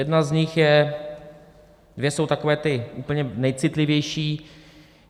Jedna z nich je - dvě jsou takové ty úplně nejcitlivější.